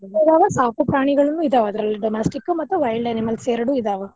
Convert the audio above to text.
ಸಾಕು ಪ್ರಾಣಿಗಳನು ಇದಾವ ಅದ್ರಲ್ಲಿ domestic ಮತ್ wild animals ಎರಡು ಇದಾವ.